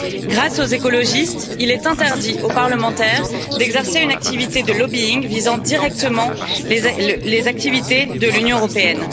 Grâce aux écologistes, il est interdit aux parlementaires d'exercer une activité de lobbying visant directement les activités de l'Union européenne.